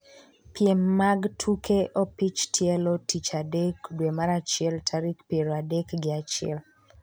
piem mag tuke opich tielo tich adek dwe mar achiel tarik piero adek gi achiel